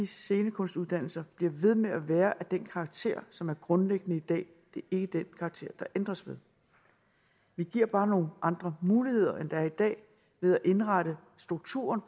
scenekunstuddannelserne bliver ved med at være af den karakter som er grundlæggende i dag det er ikke den karakter der ændres ved vi giver bare nogle andre muligheder end der er i dag ved at indrette strukturen